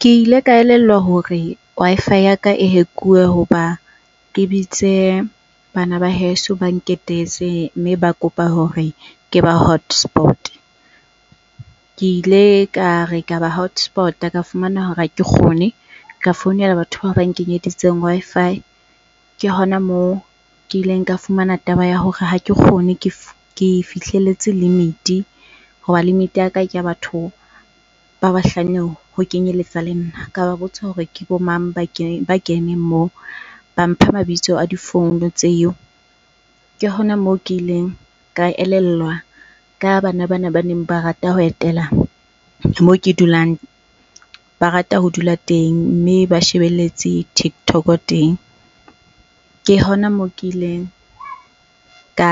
Ke ile ka elellwa hore Wi-Fi ya ka e hack-uwe hoba ke bitse bana ba heso ba nketetse mme ba kopa hore ke ba hotspot-e. Ke ile kare ka ba hotspot-a ka fumana hore hake kgone. Ka founela batho bao ba nkenyeditseng Wi-Fi, ke hona moo ke ileng ka fumana taba ya hore ha ke kgone ke fihlelletse limit-i hoba limit-i ya ka ke a batho ba bahlano ho kenyeletsa le nna. Ka ba botsa hore ke bo mang ba ba keneng moo. Ba mpha mabitso a di-phone tseo. Ke hona moo ke ileng ka elellwa ka bana bana baneng ba rata ho etela moo ke dulang, ba rata ho dula teng mme ba shebelletse TikTok teng. Ke hona moo ke ileng ka